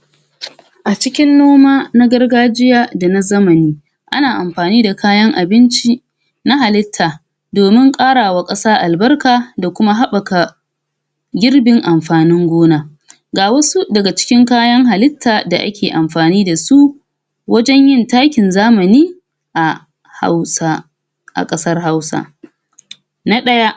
? A cikin noma na gargajiya da na zamani ana amgani da kayan abinci na halitta domin ƙarawa ƙasa albarka da kuma haɓaka girbin amfani gona ga wasu daga cikin kayan halitta da ake amfani da su wajen yin takin zamani a Hausa a ƙasar Hausa na ɗaya: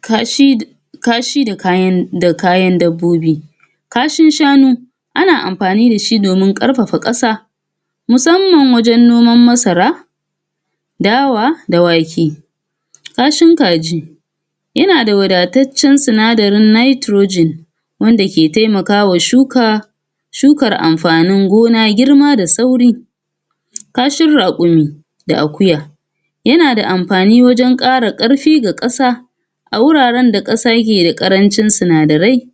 kashi kashi da da kayan da kayan dabbobi kashin shano ana amfani da shi domin ƙarfafa ƙasa musamman wajen noman masara, dawa, da wake kashin kaji yana da wadataccen sinadarin Nitrogen wanda ke taimakawa shuka shukara amfanin gona girma da sauri. Kahin Raƙumi da Akuya yana da amfani wajen ƙara ƙarfi ga ƙasa a wuraren da ƙasa ke da ƙarancin sinadarai???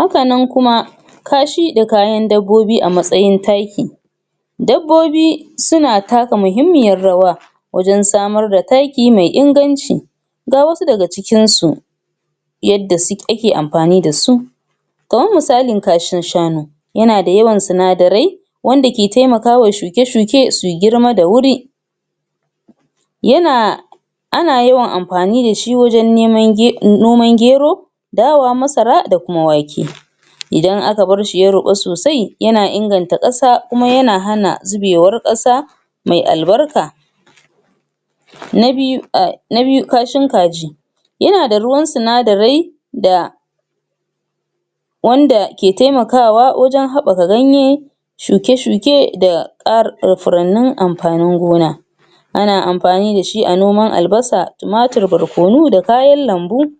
haka nan kuma kashi da kayan dabbobi a mastayin taki dabbobi suna taka muhimmiyar rawa wajen samar da taki mai inganci ga wasu daga cikinsu yadda ake amfani da su kamar misalin kashin shanu yana da yawan sinadarai wanda ke taimakawa shuke-shuke su girma da wuri yana ana yawan amfani da shi wajen neman noman Gero, Dawa, Masara da kuma wake idan aka bar shi ya ruɓa sosai yana inganta ƙasa kuma yana hana zubewar ƙasa me albarka na biyu a na biyu kashain Kaji, yana da ruwan sinadarai da wanda ke taimakawa wajen haɓaka ganyen shuke-shuke da ƙa da furannin amfanin gona ana amfani da shi a noman Albasa, Tumatur, Barkono da kayan lambu??